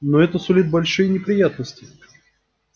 но это сулит большие неприятности